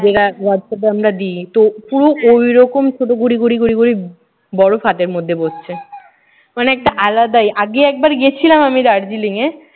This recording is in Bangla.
যেটা হোয়াটসঅ্যাপে আমরা দিই। তো পুরো ওই রকম ছোট ঘুড়ি ঘুড়ি ঘুড়ি ঘুড়ি বড় খাদেরর মধ্যে বসছে। মানে একটা আলাদাই। আগে একবার গিয়েছিলাম আমি দার্জিলিংয়ে।